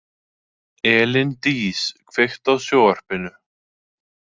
Elíndís, kveiktu á sjónvarpinu.